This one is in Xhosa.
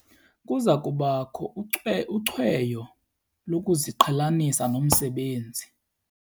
Kuza kubakho ucweyo lokuziqhelanisa nomsebenzi.